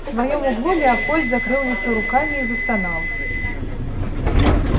в своём углу леопольд закрыл лицо руками и застонал